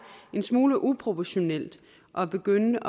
en smule uproportionalt at begynde